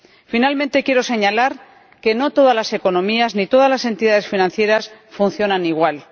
Por último, quiero señalar que no todas las economías ni todas las entidades financieras funcionan igual.